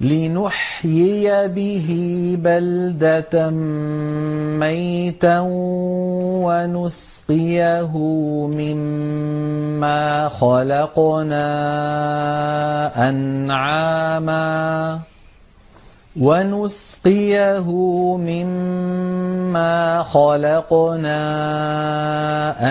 لِّنُحْيِيَ بِهِ بَلْدَةً مَّيْتًا وَنُسْقِيَهُ مِمَّا خَلَقْنَا